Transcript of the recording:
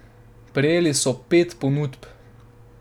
Prejeli so pet ponudb.